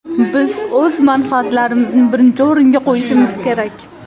Biz o‘z manfaatlarimizni birinchi o‘ringa qo‘yishimiz kerak”.